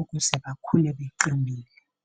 ukuze bakhule beqinile.